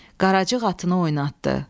Qaracıq atını oynatdı.